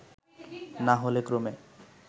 না হলে ক্রমে